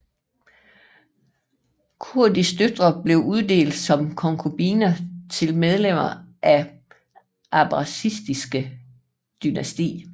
Khurshids døtre blev uddelt som konkubiner til medlemmer af det abbasidiske dynasti